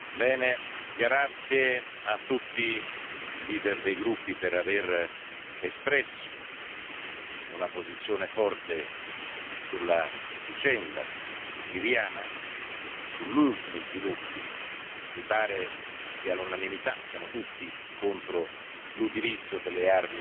Grazie a tutti i presidenti dei gruppi per aver espresso una posizione forte sulla vicenda siriana e sugli ultimi sviluppi mi pare che all'unanimità siamo tutti contro l'utilizzo delle armi chimiche